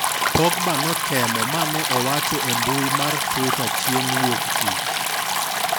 Pogba notemo mane owacho e mbui mar twitter chieng' wuok tich.